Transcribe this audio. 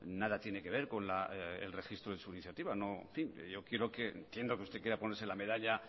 nada tiene que ver con el registro de su iniciativa entiendo que usted quiera ponerse la medalla